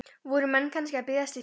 Voru menn kannski að biðjast fyrir?